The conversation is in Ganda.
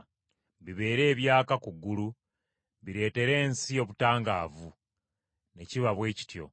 Bibeere ebyaka ku ggulu, bireetere ensi obutangaavu.” Ne kiba bwe kityo.